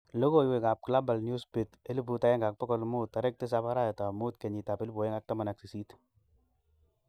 Logoiwek ap Glabal newsbeat 1500 07/05/2018